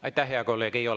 Aitäh, hea kolleeg!